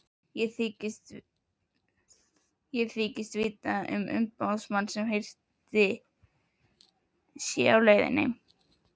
Ég þykist vita að umboðsmaður hirðstjórans sé á leiðinni.